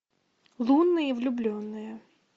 лунные влюбленные